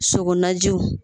Sogo najiw